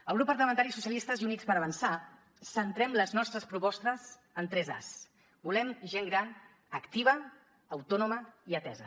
el grup parlamentari socialistes i units per avançar centrem les nostres propostes en tres as volem gent gran activa autònoma i atesa